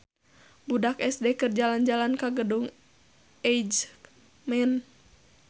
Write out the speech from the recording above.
Budak SD keur jalan-jalan ka Gedung Eijkman